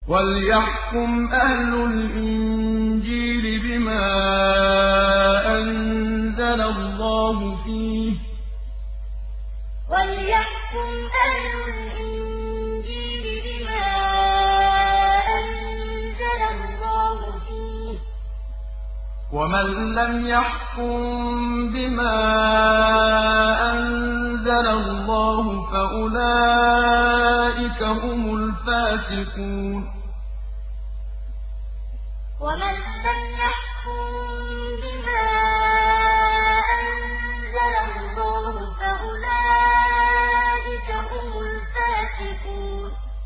وَلْيَحْكُمْ أَهْلُ الْإِنجِيلِ بِمَا أَنزَلَ اللَّهُ فِيهِ ۚ وَمَن لَّمْ يَحْكُم بِمَا أَنزَلَ اللَّهُ فَأُولَٰئِكَ هُمُ الْفَاسِقُونَ وَلْيَحْكُمْ أَهْلُ الْإِنجِيلِ بِمَا أَنزَلَ اللَّهُ فِيهِ ۚ وَمَن لَّمْ يَحْكُم بِمَا أَنزَلَ اللَّهُ فَأُولَٰئِكَ هُمُ الْفَاسِقُونَ